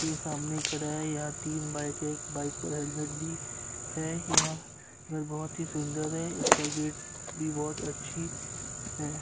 के सामने खड़ा है यहाँ तीन है यहां पर बहुत ही सुंदर है इसका गेट भी बहुत अच्छी है।